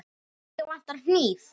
Mig vantar hníf.